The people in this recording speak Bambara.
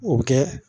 O bɛ kɛ